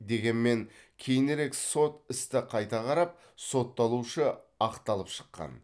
дегенмен кейінірек сот істі қайта қарап сотталушы ақталып шыққан